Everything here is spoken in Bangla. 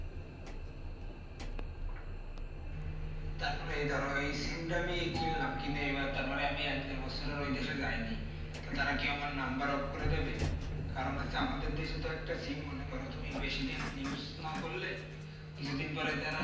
তারপরে ধরো এই sim টা আমি কিনলাম কিনে এইবার তারপরে আমি এক-দেড় আর বছর ওই দেশে যাইনি তারা কি আমার number off করে দিবে কারণ হচ্ছে আমাদের দেশে তো একটা সিম মনে করো তুমি বেশিদিন use না করলে কিছুদিন পরে তারা